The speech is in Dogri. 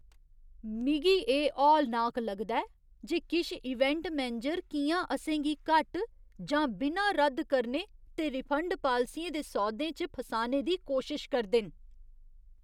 मिगी एह् हौलनाक लगदा ऐ जे किश इवेंट मैनेजर कि'यां असें गी घट्ट जां बिना रद्द करने ते रिफंड पालसियें दे सौदें च फसाने दी कोशश करदे न।